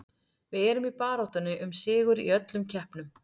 Við erum í baráttunni um sigur í öllum keppnum.